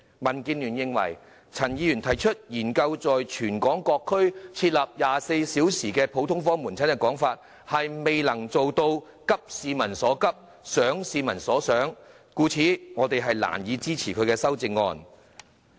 民建聯認為，陳議員提出"研究在全港各區設立24小時普通科門診服務"，未能做到急市民所急，想市民所想，故此我們難以支持他的修正案。